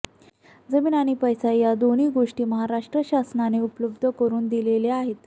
जमीन आणि पैसा या दोन्ही गोष्टी महाराष्ट्र शासनाने उपलब्ध करून दिलेल्या आहेत